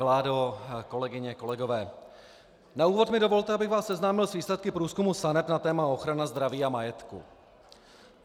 Vládo, kolegyně, kolegové, na úvod mi dovolte, abych vás seznámil s výsledky průzkumu SANEP na téma ochrana zdraví a majetku.